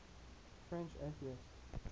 french atheists